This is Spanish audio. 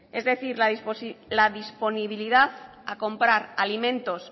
es decir la disponibilidad a comprar alimentos